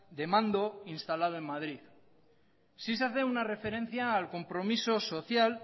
de mando instalado en madrid sí se hace una referencia al compromiso social